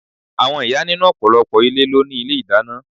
Àwọn ìyá nínú ọ̀pọ̀lọpọ̀ ilé ló ni ilé ìdáná.